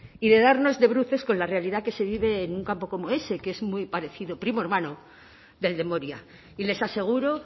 y de darnos de bruces con la realidad que se vive en un campo como ese que es muy parecido primo hermano del de moria y les aseguro